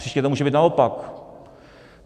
Příště to může být naopak.